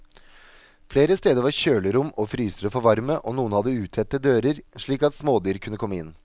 Flere steder var kjølerom og frysere for varme, og noen hadde utette dører, slik at smådyr kunne komme inn.